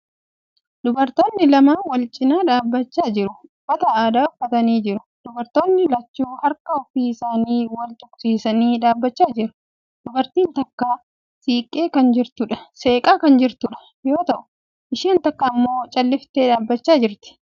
Dubartootni lama walcinaa dhaabbachaa jiru. Uffata aadaa uffatanii jiru. Dubartootni lachuu harka ofii isaanii wal tuqsiisanii dhaabbachaa jiru. Dubartiin takka seeqaa kan jirtu yoo ta'u, isheen takka immoo calliftee dhaabbachaa jirti.